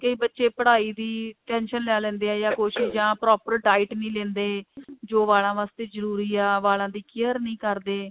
ਤੇ ਬੱਚੇ ਪਢਾਈ ਦੀ tension ਲੈ ਲੈਂਦੇ ਆ ਜਾ ਕੁੱਝ ਜਾਂ proper diet ਨਹੀਂ ਲਿੰਦੇ ਜੋ ਵਾਲਾਂ waste ਜਰੂਰੀ ਹੈ ਵਾਲਾਂ ਦੀ care ਨਹੀਂ ਕਰਦੇ